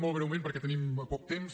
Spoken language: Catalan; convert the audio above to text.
molt breument perquè tenim poc temps